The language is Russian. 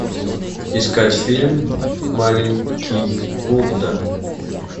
искать фильм маленький будда